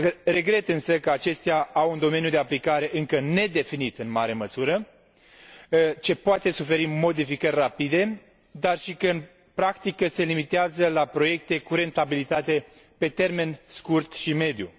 Regret însă că acestea au un domeniu de aplicare încă nedefinit în mare măsură, ce poate suferi modificări rapide, dar și că, în practică, se limitează la proiecte cu rentabilitate pe termen scurt și mediu.